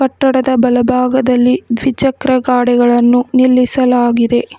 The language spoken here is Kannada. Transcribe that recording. ಕಟ್ಟಡದ ಬಲಭಾಗದಲ್ಲಿ ದ್ವಿಚಕ್ರ ವಾಹನಗಳನ್ನು ನಿಲ್ಲಿಸಲಾಗಿದೆ.